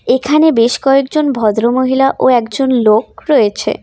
এখানে বেশ কয়েকজন ভদ্রমহিলা ও একজন লোক রয়েছে।